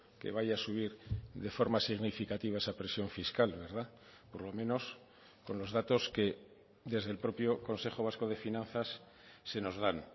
que vaya a subir de forma significativa esa presión fiscal verdad por lo menos con los datos que desde el propio consejo vasco de finanzas se nos dan